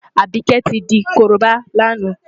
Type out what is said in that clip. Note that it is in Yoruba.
Àbíkẹ́ tí di korobá lánàá.